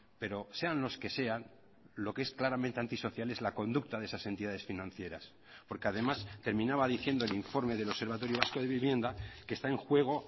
pero sean los que sean lo que es claramente antisocial es la conducta de esas entidades financieras porque además terminaba diciendo el informe del observatorio vasco de vivienda que está en juego